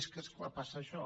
és que és clar passa això